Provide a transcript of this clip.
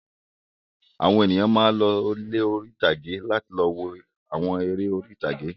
Àwọn ènìyàn máa ń lọ ilé oní-ìtàgé láti lọ wo àwọn eré orí-ìtàgé.